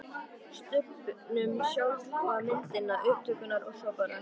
Stubbnum, sjálfa myndina, upptökurnar og svo var bara